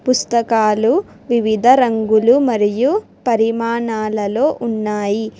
పుస్తకాలు వివిధ రంగులు మరియు పరిమాణాలలో ఉన్నాయి.